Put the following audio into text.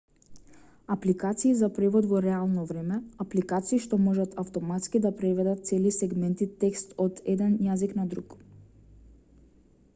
апликации за превод во реално време апликации што можат автоматски да преведат цели сегменти текст од еден јазик на друг